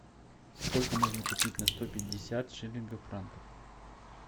сколько можно купить на сто пятьдесят шиллингов франков